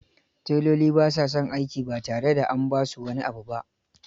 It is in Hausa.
Teloli ba sa son aiki ba tare da an ba su wani abu abu ba.